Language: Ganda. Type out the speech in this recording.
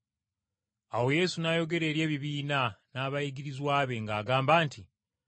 Awo Yesu n’ayogera eri ebibiina n’abayigirizwa be ng’agamba nti,